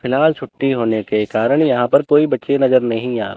फिलहाल छुट्टी होने के कारण यहां पर कोई बच्चे नजर नहीं आ--